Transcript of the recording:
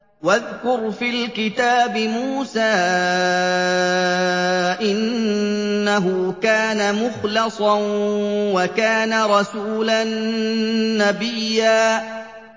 وَاذْكُرْ فِي الْكِتَابِ مُوسَىٰ ۚ إِنَّهُ كَانَ مُخْلَصًا وَكَانَ رَسُولًا نَّبِيًّا